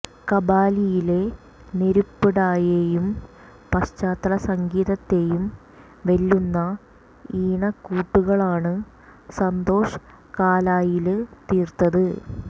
കബാലിയിലെ നെരുപ്പ് ഡായെയും പശ്ചാത്തല സംഗീതത്തെയും വെല്ലുന്ന ഈണക്കൂട്ടുകളാണ് സന്തോഷ് കാലായില് തീര്ത്തത്